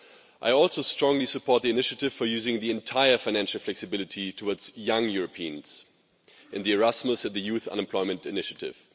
I also strongly support the initiative for using the entire financial flexibility towards young Europeans in Erasmus and the Youth Unemployment Initiative.